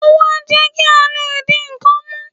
ówò a jé kí o lé dí nkán mú